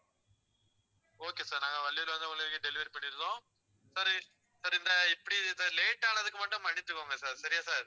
okay sir நாங்க வள்ளியூர்ல வந்து உங்களுக்கு delivery பண்ணியிரோம் sir sir இந்த இப்படி இந்த late ஆனதுக்கு மட்டும் மன்னிச்சுக்கோங்க sir சரியா sir